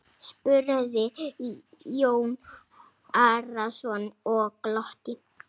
spurði Jón Arason og glotti.